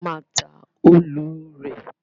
A má a ta òòlù rè.